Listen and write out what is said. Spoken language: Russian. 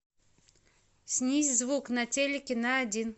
снизь звук на телике на один